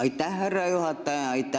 Aitäh, härra juhataja!